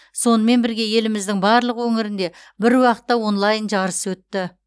сонымен бірге еліміздің барлық өңірінде бір уақытта онлайн жарыс өтті